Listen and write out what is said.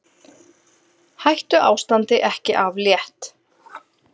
Hættuástandi ekki aflétt